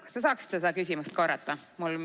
Kas te saaksite seda küsimust korrata?